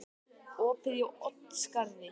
Opið í Oddsskarði